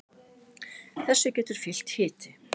þessu getur fylgt hiti